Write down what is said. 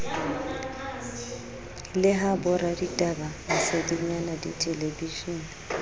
le ha boraditaba masedinyana dithelebishene